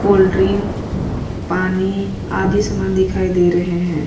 Cold drink पानी आदि सामान दिखाई दे रहे है।